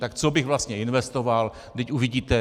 Tak co bych vlastně investoval, vždyť uvidíte.